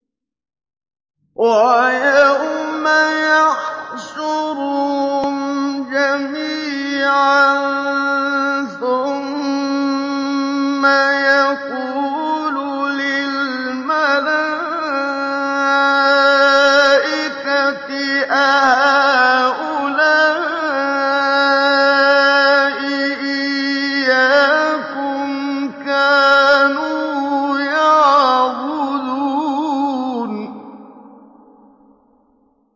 وَيَوْمَ يَحْشُرُهُمْ جَمِيعًا ثُمَّ يَقُولُ لِلْمَلَائِكَةِ أَهَٰؤُلَاءِ إِيَّاكُمْ كَانُوا يَعْبُدُونَ